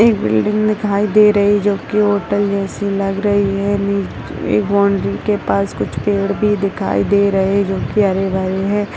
एक बिल्डिंग दिखाई दे रही है जो की होटल जैसी लग रही है नीचे एक बाउंड्री के पास कुछ पेड़ भी दिखाई दे रहे हैं जो की हरे-भरे हैं।